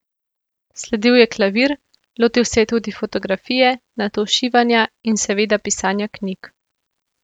Sledil je klavir, lotil se je tudi fotografije, nato šivanja in seveda pisanja knjig.